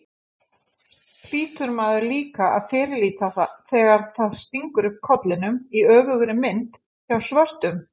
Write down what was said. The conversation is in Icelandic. hlýtur maður líka að fyrirlíta þegar það stingur upp kollinum, í öfugri mynd, hjá svörtum.